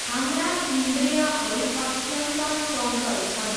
हाम्रा इन्द्रियहरू अत्यन्त चञ्चल छन्।